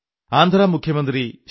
ആന്ധ്രാ മുഖ്യമന്ത്രി ശ്രീ